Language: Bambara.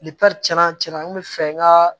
cɛn na cɛn na n kun bɛ fɛ n ka